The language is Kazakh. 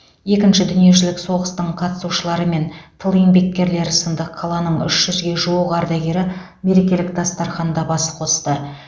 екінші дүниежүзілік соғыстың қатысушылары мен тыл еңбеккерлері сынды қаланың үш жүзге жуық ардагері мерекелік дастарханда бас қосты